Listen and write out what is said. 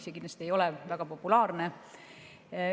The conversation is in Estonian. See kindlasti ei ole väga populaarne.